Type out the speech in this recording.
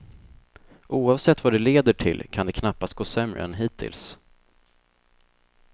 Oavsett vad det leder till kan det knappast gå sämre än hittills.